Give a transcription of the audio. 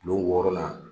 Kulon wɔɔrɔnan